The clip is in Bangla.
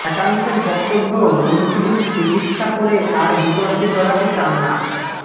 একাংশের বক্তব্য মন্ত্রীর চিকিৎসা করে আর বিতর্কে জড়াতে চান না